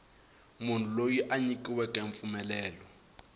munhu loyi a nyikiweke mpfumelelo